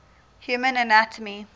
human anatomy